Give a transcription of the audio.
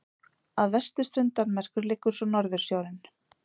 Að vesturströnd Danmerkur liggur svo Norðursjórinn.